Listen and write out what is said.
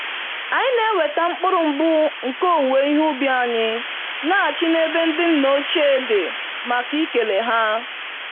Anyị na-eweta mkpụrụ mbụ nke owuwe ihe ubi anyị laghachi n'ebe ndị nna ochie dị màkà ikele ha